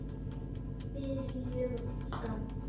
Byrjum þá.